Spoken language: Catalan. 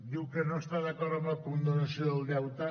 diu que no està d’acord amb la condonació del deute